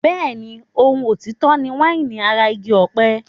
Bẹ́ẹ̀ni, ohun òtítọ́ ni wáìnì ara igi ọ̀pẹ.